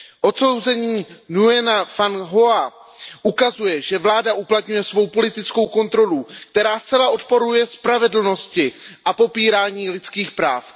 Odsouzení Nguyena Van Hoa ukazuje, že vláda uplatňuje svou politickou kontrolu, která zcela odporuje spravedlnosti a popírání lidských práv.